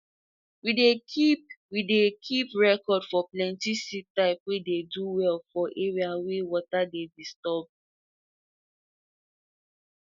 we dey keep we dey keep record for plenti seed type wey dey do well for area wey water dey disturb